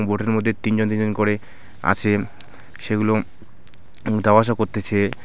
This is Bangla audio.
বোর্টের মধ্যে তিনজন তিনজন করে আছে সেগুলো যাওয়া আসা করতেছে।